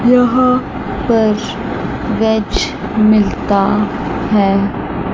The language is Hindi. यहां पर वेज मिलता है।